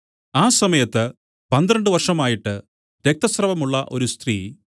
ആ സമയത്ത് പന്ത്രണ്ട് വർഷമായിട്ട് രക്തസ്രവമുള്ള ഒരു സ്ത്രീ